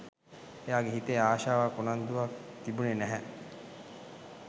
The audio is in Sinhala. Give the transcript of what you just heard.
එයාගේ හිතේ ආශාවක් උනන්දුවක් තිබුණේ නැහැ